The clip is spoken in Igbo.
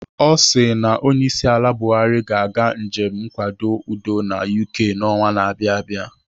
Ọ sị na onyeisiala Buhari ga-aga njem nkwado udo na UK n'ọnwa na abịa abịa.